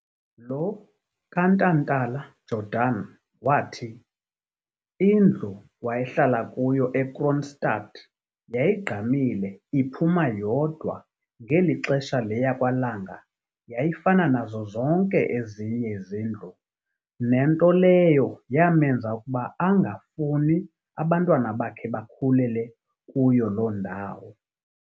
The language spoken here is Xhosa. Lo kaNtantala-Jordan wathi, indlu wayehlala kuyo eKroonstad yayigqamile iphuma yodwa ngeli xesha le yakwaLanga yayifana nazo zonke ezinye izindlu nento leyo yamenza ukuba angafuni abantwana bakhe bakhulele kuyo loo ndawo.